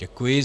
Děkuji.